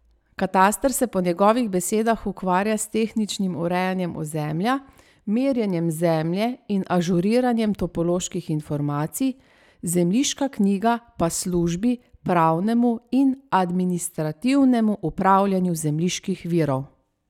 Kataster se po njegovih besedah ukvarja s tehničnim urejanjem ozemlja, merjenjem zemlje in ažuriranjem topoloških informacij, zemljiška knjiga pa službi pravnemu in administrativnemu upravljanju zemljiških virov.